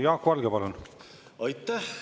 Jaak Valge, palun!